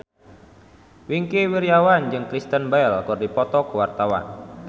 Wingky Wiryawan jeung Kristen Bell keur dipoto ku wartawan